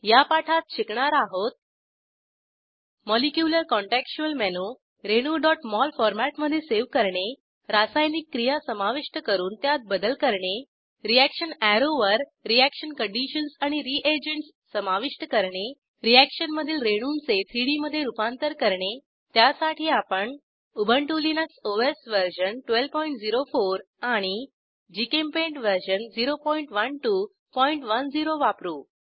या पाठात शिकणार आहोत मॉलीक्युर काँटेक्सच्युअल मेनू रेणू mol फॉरमॅटमधे सेव्ह करणे रासायनिक क्रिया समाविष्ट करून त्यात बदल करणे रीअॅक्शन अॅरोवर रीअॅक्शन कंडिशन्स आणि रीएजंटस समाविष्ट करणे रीअॅक्शन मधील रेणूंचे 3डी मधे रूपांतर करणे त्यासाठी आपण उबंटु लिनक्स ओएस वर्जन 1204 आणि जीचेम्पेंट वर्जन 01210 वापरू